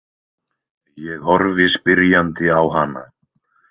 Ég horfi spyrjandi á hana.